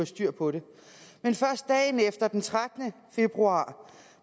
styr på det men først dagen efter den trettende februar